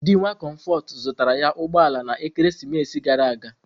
Di nwa Comforts zụtara ya ụgbọ ala na ekeresimesi gara aga.